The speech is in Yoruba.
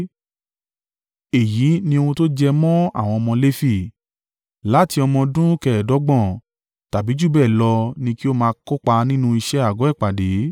“Èyí ni ohun tó jẹ mọ́ àwọn ọmọ Lefi, láti ọmọ ọdún kẹẹdọ́gbọ̀n (25) tàbí jù bẹ́ẹ̀ lọ ni kí ó máa kópa nínú iṣẹ́ àgọ́ ìpàdé.